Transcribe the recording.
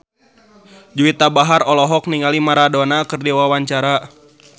Juwita Bahar olohok ningali Maradona keur diwawancara